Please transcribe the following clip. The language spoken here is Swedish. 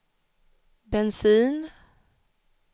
bensin